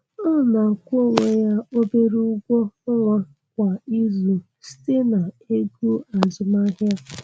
Ọ na-akwụ onwe ya obere ụgwọ ọnwa kwa izu, site na ego azụmaahịa